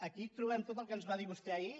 aquí trobem tot el que ens va dir vostè ahir